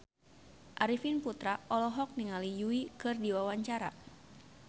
Arifin Putra olohok ningali Yui keur diwawancara